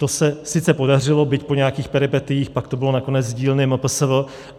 To se sice podařilo, byť po nějakých peripetiích, pak to bylo nakonec z dílny MPSV.